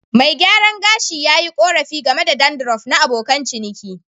Mai gyaran gashi yi korafi game da dandruff na abokan ciniki.